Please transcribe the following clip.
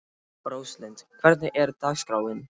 Róslind, hvernig er dagskráin?